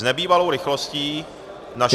S nebývalou rychlostí naše vláda -